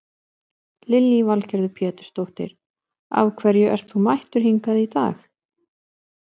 Lillý Valgerður Pétursdóttir: Af hverju ert þú mættur hingað í dag?